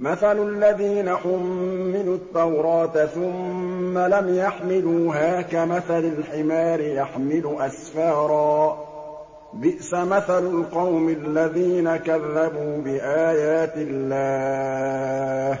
مَثَلُ الَّذِينَ حُمِّلُوا التَّوْرَاةَ ثُمَّ لَمْ يَحْمِلُوهَا كَمَثَلِ الْحِمَارِ يَحْمِلُ أَسْفَارًا ۚ بِئْسَ مَثَلُ الْقَوْمِ الَّذِينَ كَذَّبُوا بِآيَاتِ اللَّهِ ۚ